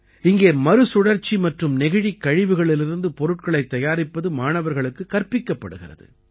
இங்கே மறுசுழற்சி மற்றும் நெகிழிக் கழிவுகளிலிருந்து பொருட்களைத் தயாரிப்பது மாணவர்களுக்குக் கற்பிக்கப்படுகிறது